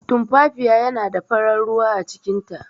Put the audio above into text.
Tumfafiya yana da farar ruwa acikin ta.